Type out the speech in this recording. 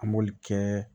An m'oli kɛ